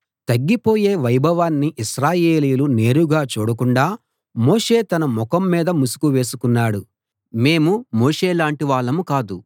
తగ్గిపోయే వైభవాన్ని ఇశ్రాయేలీయులు నేరుగా చూడకుండా మోషే తన ముఖం మీద ముసుకు వేసుకున్నాడు మేము మోషేలాంటి వాళ్ళం కాదు